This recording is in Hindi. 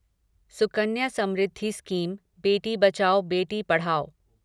सुकन्या समृद्धि स्कीम बेटी बचाओ बेटी पढ़ाओ